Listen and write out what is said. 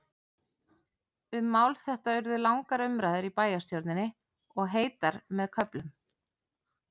Um mál þetta urðu langar umræður í bæjarstjórninni, og heitar með köflum.